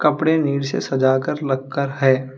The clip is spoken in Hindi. कपड़े नीचे सजाकर लगकर है।